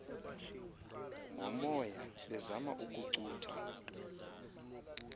ngomoya bezama ukucutha